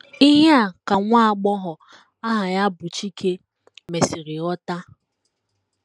Ihe a ka nwa agbọghọ aha ya bụ Chike mesịrị ghọta.